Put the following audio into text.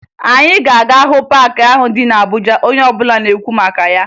Anyị ga-aga hụ paakị ahụ dị na Abuja onye ọbụla na-ekwu maka ya